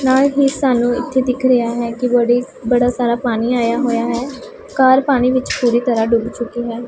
ਨਾਲ ਹੀ ਸਾਨੂੰ ਇਥੇ ਦਿਖ ਰਿਹਾ ਹੈ ਕਿ ਬੜੀ ਬੜਾ ਸਾਰਾ ਪਾਣੀ ਆਇਆ ਹੋਇਆ ਹੈ ਕਾਰ ਪਾਣੀ ਵਿੱਚ ਪੂਰੀ ਤਰ੍ਹਾਂ ਡੁੱਬ ਚੁੱਕੀ ਹੈ।